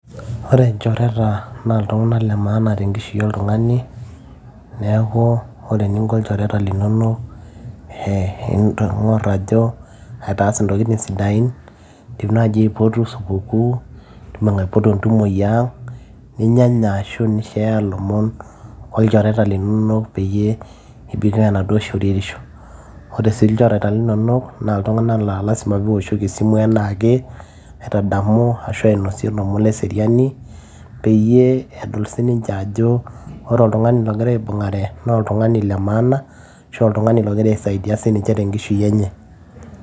Ore lchoreta na ltunganak le maana tenkishui oltungani, neaku ore eninko lchoreta linonok ee ingur ajo aitaas ntokitin sidain indim naaji aipotu sukuku, indim aipotu entumo tiang, ninyanya arashu i share lomon aa olchoreta linonok anasuo shoruweisho, ore lchereta na ltunganak la kifaa piishoki esimu anaake, aitadamu arashu ainosie lomon leseriani peyie ore peedol ajo keeta oltungani ogira aibungare na oltungani le maana , oltungani ogira aisaidia tenkishui enye.